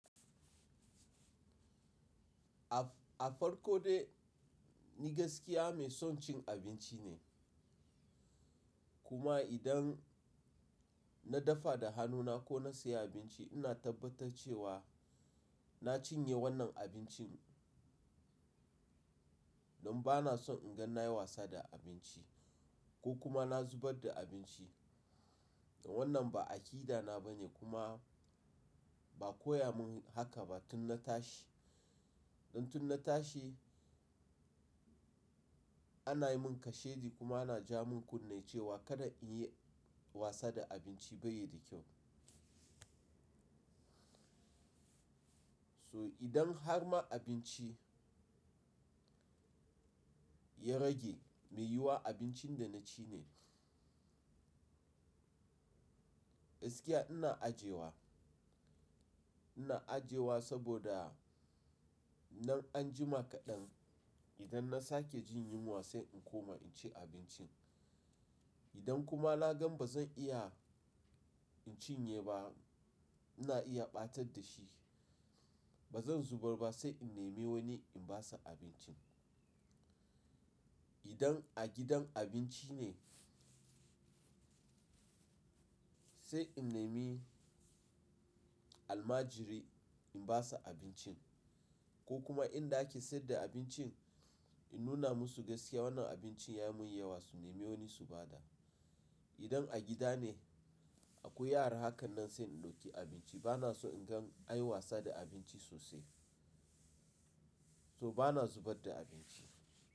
A farko dai ni gaskiya mai son cin abinci ne. Kuma idan na dafa da hannuna ko na sayi abinci ina tabbatar cewa na cinye wannan abincin don ba na son in ga na yi wasa da abinci ko kuma na zubar da abinci. Wannan ba aƙida na bane kuma ba koya mun haka ba tun na tashi. Dan tun na tashi ana yi mun kashedi kuma ana ja mun kunne cewa kada in yi wasa da abinci bai yi da kyau. So idan har ma abinci ya rage mai yiwuwa abincin da na ci ne. Gaskiya ina ajiyewa, ina ajiyewa saboda nan anjima kaɗan idan na sake jin yunwa sai in koma in ci abincin. Idan kuma na gan ba zan iya in cinye ba ina iya ɓatar da shi. Ba zan zubar ba sai in nemi wani in ba sa abincin. Idan a gidan abinci ne sai in nemi almajiri in ba sa abincin ko kuma inda ake sayar da abincin in nuna musu gaskiya wannan abincin ya mun yawa su nemi wani su ba da. Idan a gida ne akwai yara hakan nan sai in ɗauki abinci. Ba na so in gan an yi wasa da abinci sosai. So ba na zubar da abinci.